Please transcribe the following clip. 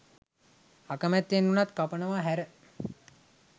අකමැත්තෙන් වුණත් කපනව හැර.